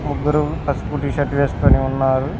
ముగ్గురు పసుపు టీషర్ట్ వేసుకొని ఉన్నారు.